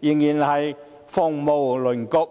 仍是鳳毛麟角。